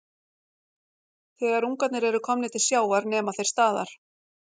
Þegar ungarnir eru komnir til sjávar nema þeir staðar.